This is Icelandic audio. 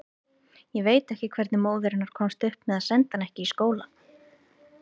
Ég veit ekki hvernig móðir hennar komst upp með að senda hana ekki í skóla.